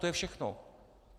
To je všechno.